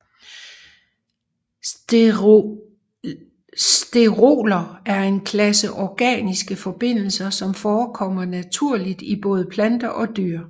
Steroler er en klasse organiske forbindelser som forekommer naturligt i både planter og dyr